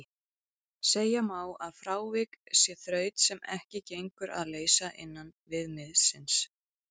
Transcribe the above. Segja má að frávik sé þraut sem ekki gengur að leysa innan viðmiðsins.